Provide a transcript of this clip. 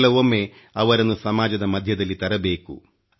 ಕೆಲವೊಮ್ಮೆ ಅವರನ್ನು ಸಮಾಜದ ಮಧ್ಯದಲ್ಲಿ ತರಬೇಕು